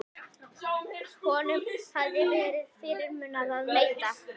Honum hafði verið fyrirmunað að neita.